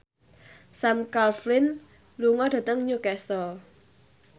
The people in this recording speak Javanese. Sam Claflin lunga dhateng Newcastle